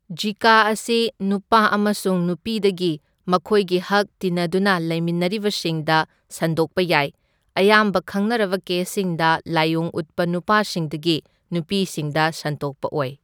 ꯓꯤꯀꯥ ꯑꯁꯤ ꯅꯨꯄꯥ ꯑꯃꯁꯨꯡ ꯅꯨꯄꯤꯗꯒꯤ ꯃꯈꯣꯏꯒꯤ ꯍꯛ ꯇꯤꯟꯅꯗꯨꯅ ꯂꯩꯃꯤꯟꯅꯔꯤꯕꯁꯤꯡꯗ ꯁꯟꯗꯣꯛꯄ ꯌꯥꯏ, ꯑꯌꯥꯝꯕ ꯈꯪꯅꯔꯕ ꯀꯦꯁꯁꯤꯡꯗ ꯂꯥꯏꯑꯣꯡ ꯎꯠꯄ ꯅꯨꯄꯥꯁꯤꯡꯗꯒꯤ ꯅꯨꯄꯤꯁꯤꯡꯗ ꯁꯟꯗꯣꯛꯄ ꯑꯣꯏ꯫